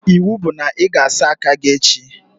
Iwu bụ na ị ga-asa aka gị echi!